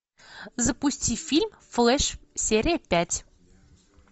запусти фильм флэш серия пять